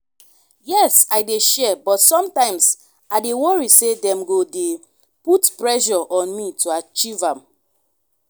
yes i dey share but sometimes i dey worry say dem go dey put pressure on me to achieve am.